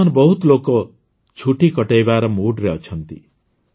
ବର୍ତ୍ତମାନ ବହୁତ ଲୋକ ଛୁଟି କଟାଇବା moodରେ ଅଛନ୍ତି